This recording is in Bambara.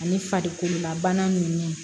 Ani farikololabana ninnu